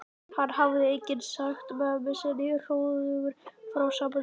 Hann hafði einnig sagt mömmu sinni hróðugur frá sambandi þeirra